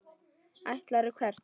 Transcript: Ætlarðu hvert?